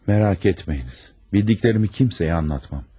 Mərak etməyiniz, bildiklərimi kimsəyə anlatmam.